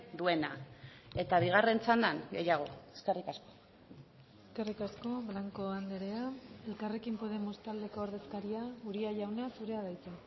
duena eta bigarren txandan gehiago eskerrik asko eskerrik asko blanco andrea elkarrekin podemos taldeko ordezkaria uria jauna zurea da hitza